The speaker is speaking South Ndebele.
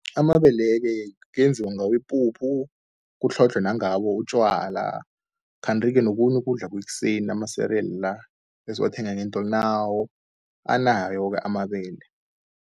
Amabele-ke kuyenziwa ngawo ipuphu, kutlhodlhwe nangawo utjwala. Kanti-ke nokhunye ukudla kwekuseni ama-cereal la, esiwathenga ngeentolo nawo anawo-ke amabele.